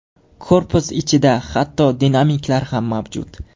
Korpus ichida hatto dinamiklar ham mavjud.